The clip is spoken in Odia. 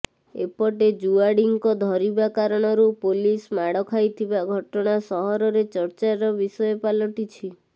ଏପଟେ ଜୁଆଡିଙ୍କ ଧରିବା କାରଣରୁ ପୁଲିସ ମାଡ ଖାଇଥିବା ଘଟଣା ସହରରେ ଚର୍ଚ୍ଚାର ବିଷୟ ପାଲଟିଛି